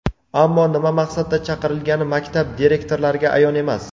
Ammo nima maqsadda chaqirilgani maktab direktorlariga ayon emas.